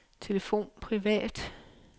telefon privat